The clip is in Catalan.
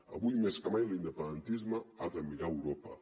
avui més que mai l’independentisme ha de mirar a europa